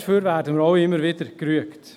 Dafür werden wir auch immer wieder gerügt.